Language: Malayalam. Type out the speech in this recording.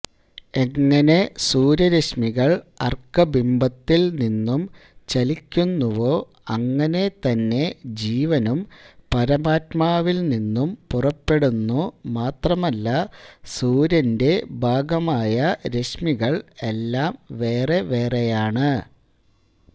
എങ്ങനെ സൂര്യരശ്മികൾ അർക്കബിംബത്തിൽനിന്നും ചലിക്കുന്നുവോ അങ്ങനെതന്നെ ജീവനും പരമാത്മാവിൽനിന്നും പുറപ്പെടുന്നു മാത്രമല്ല സൂര്യന്റെ ഭാഗമായ രശ്മികൾ എല്ലം വേറേ വേറേയാണ്